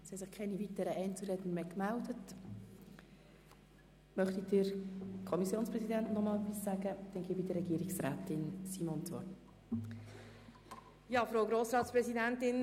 Wir debattieren seit Montag letzter Woche hier im Saal, und es geht immer um die Finanzen.